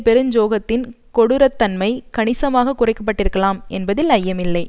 பெருஞ்சோகத்தின் கொடூரத்தன்மை கணிசமாக குறைக்கப்பட்டிருக்கலாம் என்பதில் ஐயமில்லை